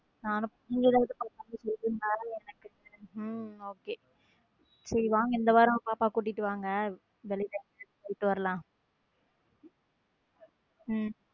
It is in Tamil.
Okay சரி வாங்க இந்த வாரம் பாப்பாவ கூட்டிட்டு வாங்க வெளிய எங்கயாவது போயிட்டு வரலாம உம்